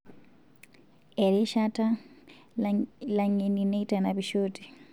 Erishata, langeni neitanapishote.